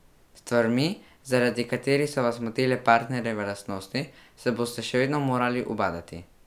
S stvarmi, zaradi katerih so vas motile partnerjeve lastnosti, se boste še vedno morali ubadati.